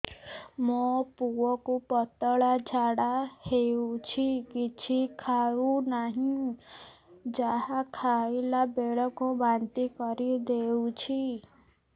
ମୋ ପୁଅ କୁ ପତଳା ଝାଡ଼ା ହେଉଛି କିଛି ଖାଉ ନାହିଁ ଯାହା ଖାଇଲାବେଳକୁ ବାନ୍ତି କରି ଦେଉଛି